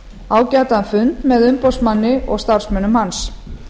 ágætan fund með umboðsmanni og starfsmönnum hans